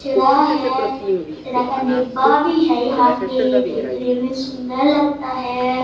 कचरा हैं कचरा का डब्बा भी है यहां पे देखने में सुंदर लगता है।